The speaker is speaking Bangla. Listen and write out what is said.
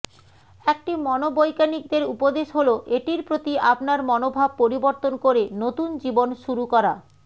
একটি মনোবৈজ্ঞানিকদের উপদেশ হল এটির প্রতি আপনার মনোভাব পরিবর্তন করে নতুন জীবন শুরু করা